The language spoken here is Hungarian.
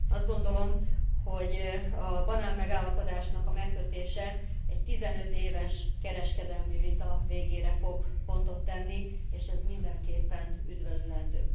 Azt gondolom, hogy a banánmegállapodásnak a megkötése egy 15 éves kereskedelmi vita végére fog pontot tenni, és ez mindenképpen üdvözlendő.